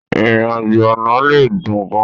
Ìrìn-àjò ọ̀nà lè dùn gan-an.